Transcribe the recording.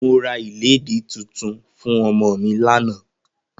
Mo ra ìlédì tuntun fún ọmọ mi lánàá